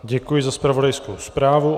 Děkuji za zpravodajskou zprávu.